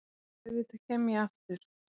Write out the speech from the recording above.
Auðvitað kem ég aftur.